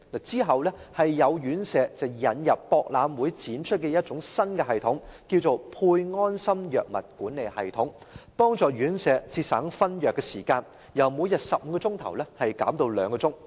之後，有院舍引入在博覽會展出的一套新系統，稱為"配安心藥物管理系統"，幫助院舍節省分藥時間，由每天15小時減至2小時。